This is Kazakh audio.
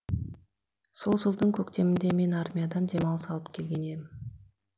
сол жылдың көктемінде мен армиядан демалыс алып келген ем